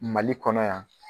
Mali kɔnɔ yan.